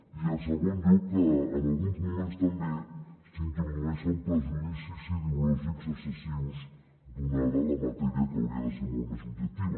i en segon lloc que en alguns moments també s’introdueixen prejudicis ideològics excessius donada la matèria que hauria de ser molt més objectiva